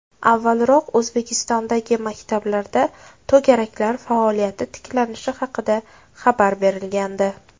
Avvalroq O‘zbekistondagi maktablarda to‘garaklar faoliyati tiklanishi haqida xabar berilgandi .